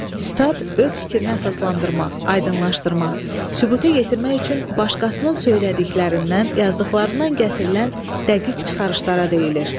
Sitat öz fikrinə əsaslandırmaq, aydınlaşdırmaq, sübuta yetirmək üçün başqasının söylədiklərindən, yazdıqlarından gətirilən dəqiq çıxarışlara deyilir.